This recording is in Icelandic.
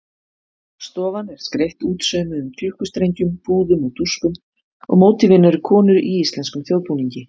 Stofan er skreytt útsaumuðum klukkustrengjum, púðum og dúkum og mótífin eru konur í íslenskum þjóðbúningi.